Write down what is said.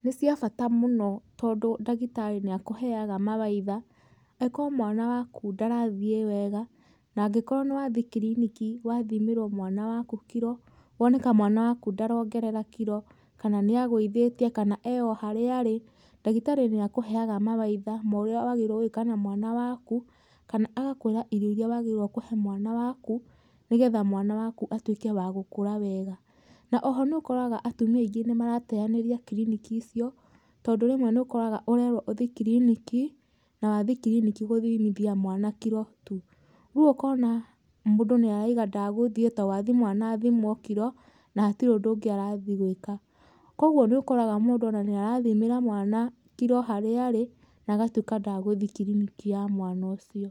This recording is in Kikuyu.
Nĩcia bata mũno tondũ dagĩtarĩ nĩakũheaga mawaitha agĩkorwo mwana wakũ ndarathĩe wega na angĩkorwo nĩwathie kiriniki wathimĩrwo mwana waku kiro woneka mwana wakũ ndarongerera kiro kana nĩagũithetĩe kana e o harĩa arĩ, dagĩtarĩ nĩakũheaga mawaitha ma ũrĩa wagĩrĩirwo gũĩka na mwana wakũ, kana agakũĩra irio iria wagĩrĩire kũhe mwana waku nĩgetha mwana wakũ atwĩkĩ wa gũkũra wega. Na oho nũkoraga atũmia aingĩ nĩmarateaneria kiriniki icio tondũ remwe nĩũkoraga ũrerwo ũthi kiriniki na wathi kiriniki gũthimithia mwana kiro tũ, rĩu okana mũndũ nĩarauga ndagũthiĩ tondũ wathi mwana athimwo kiro na hatirĩ ũndũ ũngĩ arathiĩ gwĩka. Koguo nĩũkoraga mũndũ ona nĩarathimĩra mwana kiro harĩa arĩ na agatũĩka ndagũthi kiriniki ya mwana ũcio.